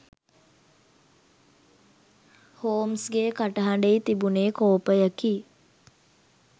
හෝම්ස්ගේ කටහ‍ඬෙහි තිබුනේ කෝපයකි.